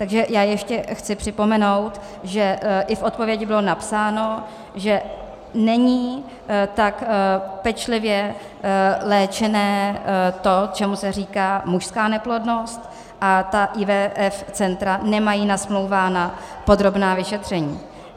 Takže já ještě chci připomenout, že i v odpovědi bylo napsáno, že není tak pečlivě léčené to, čemu se říká mužská neplodnost, a ta IVF centra nemají nasmlouvána podrobná vyšetření.